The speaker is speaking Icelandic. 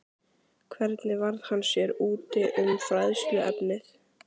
Hvernig varð hann sér úti um fræðsluefnið?